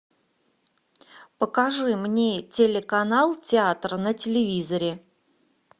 покажи мне телеканал театр на телевизоре